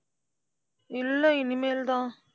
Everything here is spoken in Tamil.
இல்லை, இனிமேல்தான்.